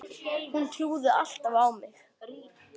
Hún trúði alltaf á mig.